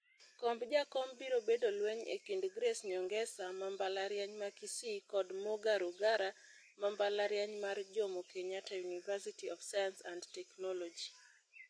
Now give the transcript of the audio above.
Komb jakom biro bedo lweny e kind Grace Nyongesa ma mbalariany ma Kisii kod Muga Rugara ma mbalariany mar Jomo Kenyatta University of Science and Technology.